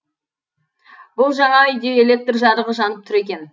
бұл жаңа үйде электр жарығы жанып тұр екен